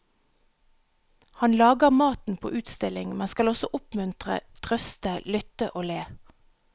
Han lager maten på utstilling, men skal også oppmuntre, trøste, lytte og le.